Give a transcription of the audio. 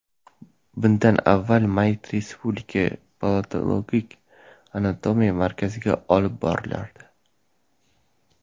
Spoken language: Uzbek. Bundan avval mayyit Respublika patologik anatomiya markaziga olib borilardi.